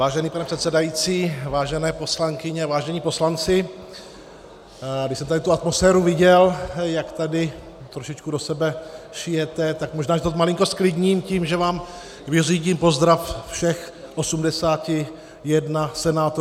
Vážený pane předsedající, vážené poslankyně, vážení poslanci, když jsem tady tu atmosféru viděl, jak tady trošičku do sebe šijete, tak možná, že to malinko zklidním tím, že vám vyřídím pozdrav všech 81 senátorů ze Senátu.